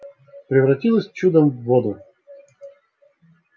превратилась чудом в воду